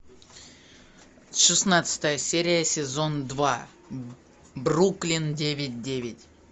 шестнадцатая серия сезон два бруклин девять девять